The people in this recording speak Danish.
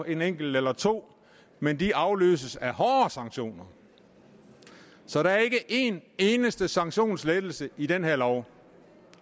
en enkelt eller to men de afløses af hårdere sanktioner så der er ikke en eneste sanktionslettelse i den her lov